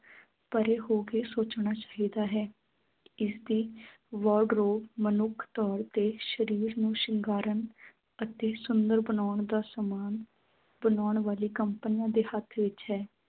ਪਰੇ ਹੋ ਕੇ ਸੋਚਣਾ ਚਾਹੀਦਾ ਹੈ ਇਸਦੀ ਮਨੁੱਖ ਤੋਰ ਤੇ ਸ਼ਰੀਰ ਨੂੰ ਸ਼ਿੰਗਾਰਣ ਅਤੇ ਸੁੰਦਰ ਬਣਾਉਣ ਦਾ ਸਾਮਾਨ ਬਣਾਉਣ ਵਾਲੀ ਕੰਪਨੀਆਂ ਦੇ ਹੱਥ ਵਿੱਚ ਹੈ।